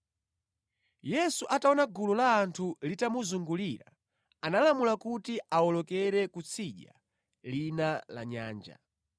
Yesu ataona gulu la anthu litamuzungulira, analamula kuti awolokere kutsidya lina la nyanja.